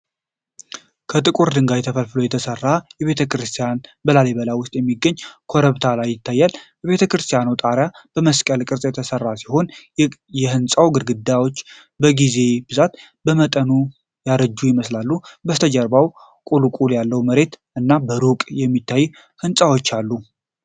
ከጥቁር ድንጋይ ተፈልፍሎ የተሰራች ቤተክርስቲያን በላሊበላ ውስጥ በሚገኝ ኮረብታ ላይ ይታያል። የቤተክርስቲያኗ ጣሪያ በመስቀል ቅርጽ የተሰራ ሲሆን፣ የህንፃው ግድግዳዎች በጊዜ ብዛት በመጠኑ ያረጁ ይመስላል። ከበስተጀርባው ቁልቁለት ያለው መሬት እና በሩቅ የሚታዩ ህንጻዎች አሉ።